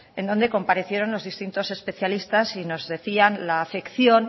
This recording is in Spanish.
en donde comparecieron los distintos especialistas y nos decían la acepción